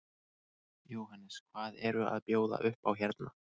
Jóhannes: Hvað eru að bjóða upp á hérna?